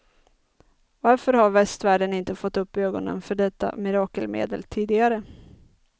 Varför har västvärlden inte fått upp ögonen för detta mirakelmedel tidigare?